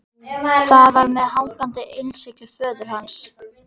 Það var með hangandi innsigli föður hans.